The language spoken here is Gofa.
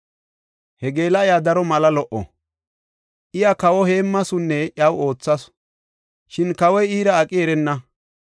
He geela7iya daro mala lo77o. Iya kawa heemmasunne iyaw oothasu; shin kawoy iira aqi erenna.